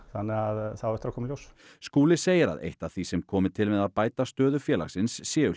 þannig að það á eftir að koma í ljós Skúli segir að eitt af því sem komi til með að bæta stöðu félagsins séu